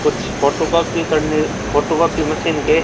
कुछ फोटोकॉपी करने photocopy machine के--